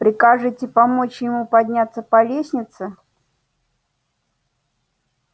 прикажете помочь ему подняться по лестнице